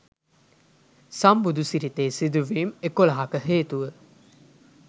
සම්බුදු සිරිතේ සිදුවීම් එකොළහක හේතුව